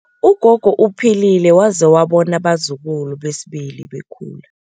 Ugogo uphilile waze wabona abazukulu besibili bekhula.